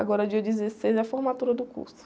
Agora dia dezesseis é a formatura do curso.